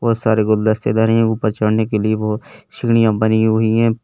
बहुत सारे गुलदस्ते धरे हैं ऊपर चढ़ने के लिए बहुत सीढ़ियां बनी हुई है।